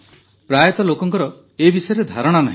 ପ୍ରାୟତଃ ଲୋକଙ୍କର ଏ ବିଷୟରେ ଧାରଣା ନାହିଁ